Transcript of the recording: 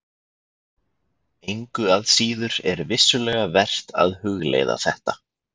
Engu að síður er vissulega vert að hugleiða þetta.